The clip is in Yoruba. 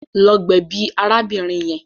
Lọ gbèbí arábìnrin yẹn.